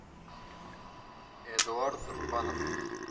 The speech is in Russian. эдуард рубанов